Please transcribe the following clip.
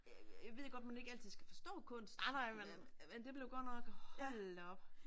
æh jeg ved godt at man ikke altid skal forstå kunst men men det blev godt nok hold da op